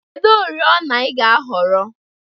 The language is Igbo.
Kedu oriọna ị ga-ahọrọ?